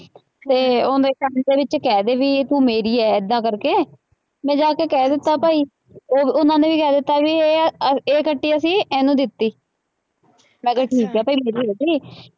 ਅਤੇ ਉੇਹਦੇ ਕੰਂਨ ਦੇ ਵਿੱਚ ਕਹਿ ਦੇ ਬਈ ਕਿ ਤੂੰ ਮੇਰੀ ਹੈ ਏਦਾਂ ਕਰਕੇ, ਮੈਂ ਜਾ ਕੇ ਕਹਿ ਦਿੱਤਾ ਭਾਈ, ਉਹ ਉਹਨਾ ਨੇ ਵੀ ਕਹਿ ਦਿੱਤਾ, ਬਈ ਇਹ ਆਂਹ ਇਹ ਕੱਟੀ ਅਸੀਂ ਇਹਨੂੰ ਦਿੱਤੀ, ਮੈਂ ਕਿਹਾ ਠੀਕ ਹੈ ਭਾਈ, ਮੇਰੀ ਹੋ ਗਈ।